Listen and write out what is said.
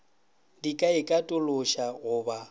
di ka ikatološa go ba